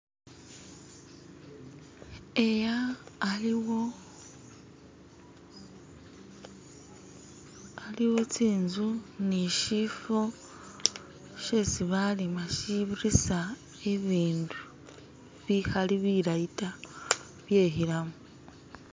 eya aliwo, aliwo tsinzu nishifo shesibalima shibirisa ibindu bihali bilayi ta byehilamu